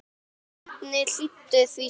Bjarni hlýddi því strax.